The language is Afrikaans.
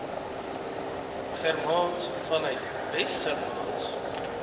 germaans vanuit wesgermaans